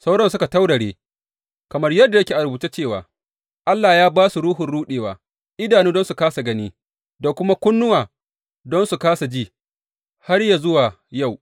Sauran suka taurare, kamar yadda yake a rubuce cewa, Allah ya ba su ruhun ruɗewa, idanu don su kāsa gani, da kuma kunnuwa don su kāsa ji, har yă zuwa yau.